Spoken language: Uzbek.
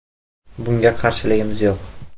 Bunga qarshiligimiz yo‘q.